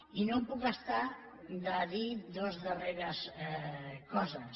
i no em puc estar de dir dues darreres coses